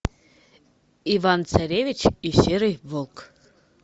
иван царевич и серый волк